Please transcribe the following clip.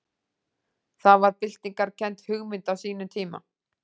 Það var byltingarkennd hugmynd á sínum tíma.